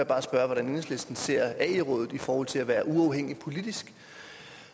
bare spørge hvordan enhedslisten ser ae rådet i forhold til at være uafhængig politisk